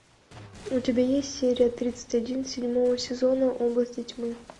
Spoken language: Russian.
у тебя есть серия тридцать один седьмого сезона области тьмы